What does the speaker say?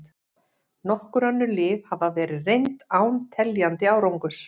Nokkur önnur lyf hafa verið reynd án teljandi árangurs.